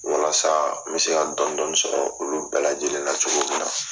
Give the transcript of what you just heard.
Walasa n bɛ se ka dɔni dɔni sɔrɔ olu bɛɛ lajɛlen na cogo min na.